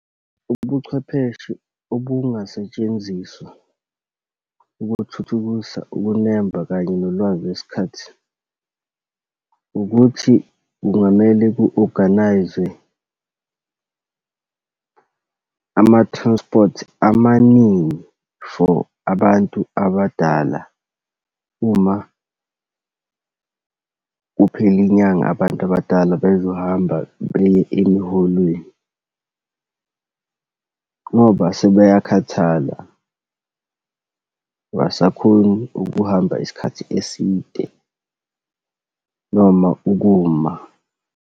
Ubuchwepheshe obungasetshenziswa ukuthuthukisa ukunemba kanye nolwazi lwesikhathi. Ukuthi kungamele ku-organise-zwe ama-transport amaningi for abantu abadala uma kuphela inyanga abantu abadala bezohamba beye emiholweni. Ngoba sebeyakhathala, abasakhoni ukuhamba isikhathi eside noma ukuma.